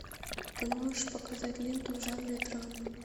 ты можешь показать ленту в жанре драма